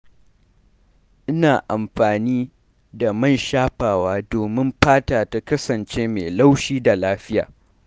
Ina amfani da man shafawa domin fata ta kasance mai laushi da lafiya.